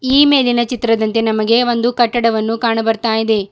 ಈ ಮೇಲಿನ ಚಿತ್ರದಂತೆ ನಮಗೆ ಒಂದು ಕಟ್ಟಡವನ್ನು ಕಾಣುಬರ್ತಾಯಿದೆ.